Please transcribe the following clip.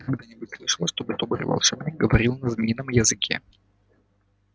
ты когда-нибудь слышала чтобы добрый волшебник говорил на змеином языке